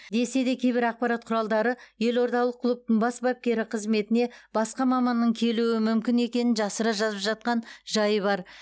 десе де кейбір ақпарат құралдары елордалық клубтың бас бапкері қызметіне басқа маманның келуі мүмкін екенін жасыра жазып жатқан жайы бар